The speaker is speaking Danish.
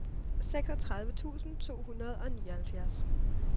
seksogtredive tusind to hundrede og nioghalvfjerds